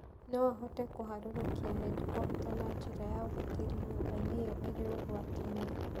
No ahote kũharũrũkia helikopta na njĩra ya ũgitĩri nyũmba-inĩ ĩyo ĩrĩ ũgwati-inĩ?